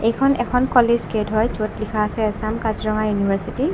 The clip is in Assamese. এইখন এখন কলেজ গেট হয় য'ত লিখা আছে আছাম কাজিৰঙা ইউনিভাৰ্ছিটি ।